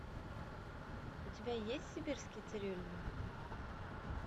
у тебя есть сибирский цирюльник